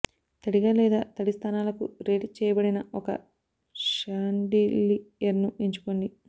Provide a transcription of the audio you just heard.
తడిగా లేదా తడి స్థానాలకు రేట్ చేయబడిన ఒక షాన్డిలియర్ను ఎంచుకోండి